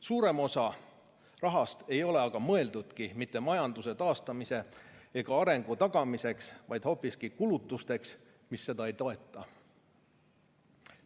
Suurem osa rahast ei ole aga mõeldud mitte majanduse taastamiseks ja arengu tagamiseks, vaid hoopiski kulutusteks, mis seda ei toeta.